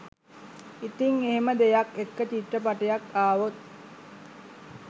ඉතින් එහෙම දෙයක් එක්ක චිත්‍රපටයක් ආවොත්